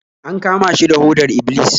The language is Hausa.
An kama shi da hodar Iblis